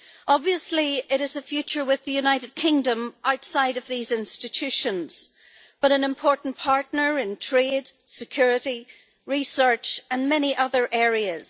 Obviously, it is a future with the United Kingdom outside of these institutions, but an important partner in trade, security, research and many other areas.